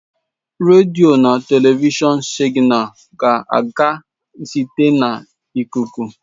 Redio na telivishọn signals ga-aga site naanị na ikuku.